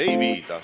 Ei viida!